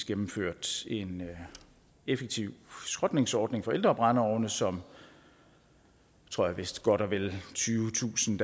gennemført en effektiv skrotningsordning for ældre brændeovne som vist godt og vel tyvetusind